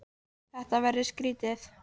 Þetta verður skrýtið.